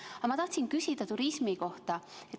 Aga ma tahtsin küsida turismi kohta.